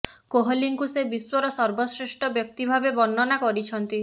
କୋହଲିଙ୍କୁ ସେ ବିଶ୍ୱର ସର୍ବଶ୍ରେଷ୍ଠ ବ୍ୟକ୍ତି ଭାବେ ବର୍ଣ୍ଣନା କରିଛନ୍ତି